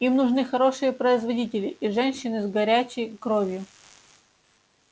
им нужны хорошие производители и женщины с горячей кровью